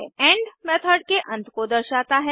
and method के अंत को दर्शाता है